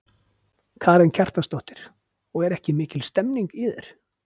Karen Kjartansdóttir: Og er ekki mikil stemning í þér?